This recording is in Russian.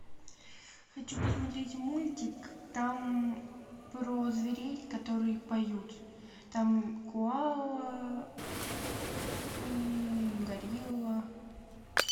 хочу посмотреть мультик там про зверей которые поют там коала и горилла